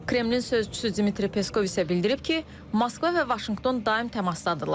Kremlın sözçüsü Dmitri Peskov isə bildirib ki, Moskva və Vaşinqton daim təmasdadırlar.